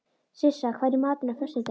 Sissa, hvað er í matinn á föstudaginn?